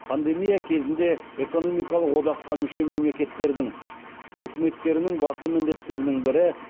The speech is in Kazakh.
пандемия кезеңінде экономикалық одаққа мүше мемлекеттердің үкіметтерінің басты міндеттерінің бірі